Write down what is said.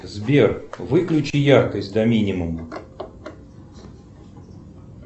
сбер выключи яркость до минимума